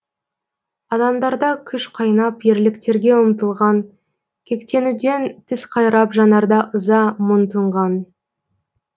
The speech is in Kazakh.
адамдарда күш қайнап ерліктерге ұмтылған кектенуден тіс қайрап жанарда ыза мұң тұнған